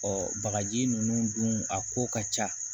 bagaji ninnu dun a ko ka ca